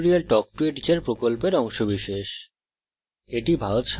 spoken tutorial talk to a teacher প্রকল্পের অংশবিশেষ